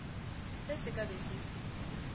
se se ka be se